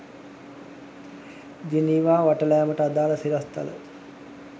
Geneva වටලෑමට අදාළ සිරස්තල